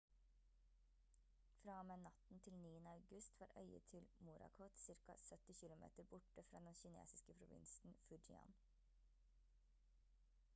fra og med natten til 9. august var øyet til morakot ca 70 km borte fra den kinesiske provinsen fujian